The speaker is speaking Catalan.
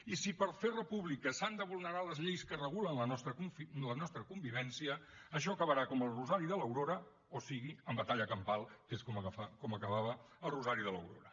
i si per fer república s’han de vulnerar les lleis que regulen la nostra convivència això acabarà com el rosari de l’aurora o sigui amb batalla campal que és com acabava el rosari de l’aurora